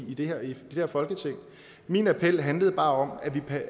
i det her folketing i min appel handler bare om